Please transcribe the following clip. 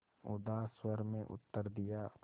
उदास स्वर में उत्तर दिया